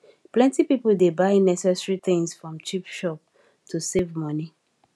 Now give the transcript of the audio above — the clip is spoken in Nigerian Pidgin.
plenty people dey buy necessary things from cheap shop to save money